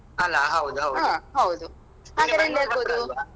ಅಲ್ಲಾ ಹೌದೌದ್.